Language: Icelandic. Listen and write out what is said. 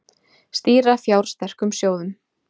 Stýra fjársterkum sjóðum